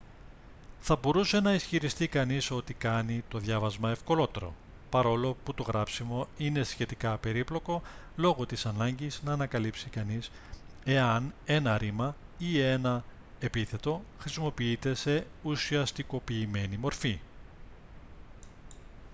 θα μπορούσε να ισχυριστεί κανείς ότι κάνει το διάβασμα ευκολότερο παρόλο που το γράψιμο είναι σχετικά περίπλοκο λόγω της ανάγκης να ανακαλύψει κανείς εάν ένα ρήμα ή ένα επίθετο χρησιμοποιείται σε ουσιαστικοποιημένη μορφή